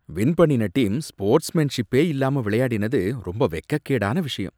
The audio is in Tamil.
வின் பண்ணின டீம் ஸ்போர்ட்ஸ்மேன்ஷிப்பே இல்லாம விளையாடினது ரொம்ப வெக்கக்கேடான விஷயம்.